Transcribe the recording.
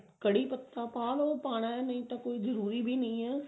ਕੜ੍ਹੀ ਪੱਤਾ ਪਾ ਲੋ ਪਾਉਣਾ ਨਹੀਂ ਤਾਂ ਕੋਈ ਜਰੂਰੀ ਵੀ ਨਹੀਂ ਹੈ